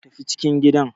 Tafi cikin gida.